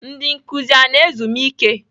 Ndị nkuzi a na ezumike?